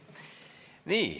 Nii.